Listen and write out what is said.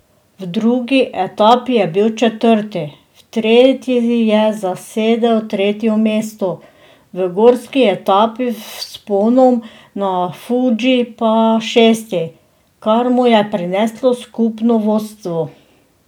V drugi etapi je bil četrti, v tretji je zasedel tretje mesto, v gorski etapi z vzponom na Fudži pa šesti, kar mu je prineslo skupno vodstvo.